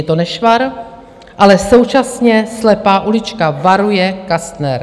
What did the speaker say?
Je to nešvar, ale současně slepá ulička, varuje Kastner.